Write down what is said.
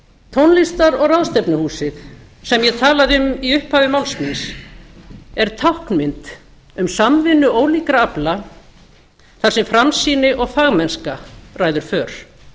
tónlistar og ráðstefnuhúsið sem ég talaði um í upphafi máls míns er táknmynd um samvinnu ólíkra afla þar sem framsýni og fagmennska ræður för